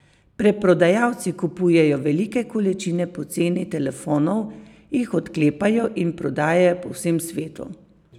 Preprodajalci kupujejo velike količine poceni telefonov, jih odklepajo in prodajajo po vsem svetu.